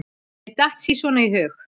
Mér datt sí svona í hug.